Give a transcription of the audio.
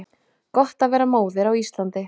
Gott að vera móðir á Íslandi